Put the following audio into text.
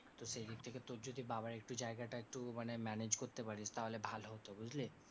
তো সেই দিক থেকে তোর যদি বাবার একটু জায়গাটা একটু মানে manage করতে পারিস, তাহলে ভালো হতো বুঝলি?